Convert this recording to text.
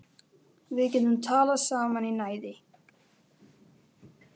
Við getum talað saman í næði